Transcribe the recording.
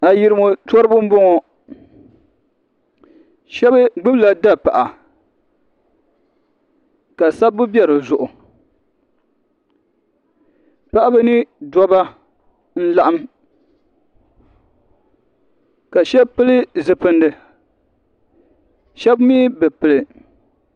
Ayirimo toriba n bɔŋɔ shɛba gbubi la dapaɣa ka sabibu bɛ di zuɣu paɣa ni dabba n laɣim ka shɛba pili zipilisi shɛba mi bi pili.